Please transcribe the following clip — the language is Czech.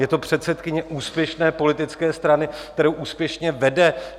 Je to předsedkyně úspěšné politické strany, kterou úspěšně vede.